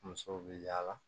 Musow bɛ yaala